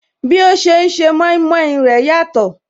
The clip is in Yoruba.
Bí ó ṣe ń se mọimọi rẹ̀ yàtọ̀